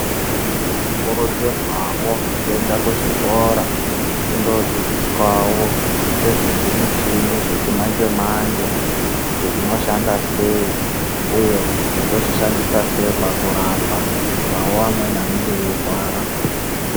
Tinokurudzirwawo kuenda kuzvikora tindodzidziswa ngezvezvimuchini zvechimanje-manje kuti zvishanda sei uye kuti tozvishandisa sei pakurapa. Kuitirawo amweni anenge eirwara.